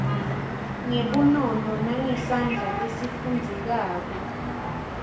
ngebunono nangesandla lesifundzekako